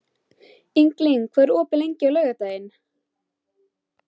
Ingilín, hvað er opið lengi á laugardaginn?